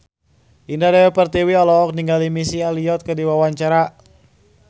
Indah Dewi Pertiwi olohok ningali Missy Elliott keur diwawancara